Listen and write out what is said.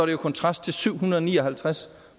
i kontrast til syv hundrede og ni og halvtreds